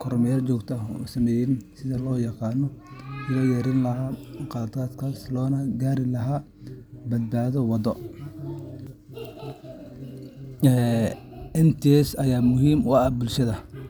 kormeer joogto ah u sameysaa sidii loo yarayn lahaa khaladaadkaas, loona gaari lahaa badbaado waddo oo buuxda.ee NTSA aya muhim oo ah bulshada.